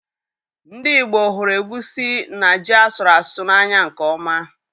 Ndị ìgbo hụrụ egwusi na ji asụru asụ n'anya nke ọma